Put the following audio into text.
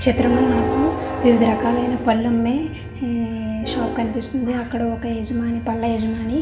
చిత్రంలో నాకు వివిధ రకాలు ఐన పళ్ళమ్మే ఉమ్మ్ షాప్ కనిపిస్తుంది అక్కడ ఒక యజమాని పళ్ళ యజమాని.